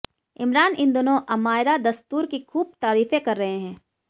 इमरान इन दिनों अमायरा दस्तूर की खूब तारीफें कर रहे हैं